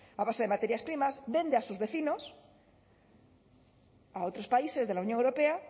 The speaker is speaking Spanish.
a base de materias primas vende a sus vecinos a otros países de la unión europea